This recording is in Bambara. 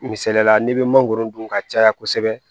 Misaliyala n'i bɛ mangoro dun ka caya kosɛbɛ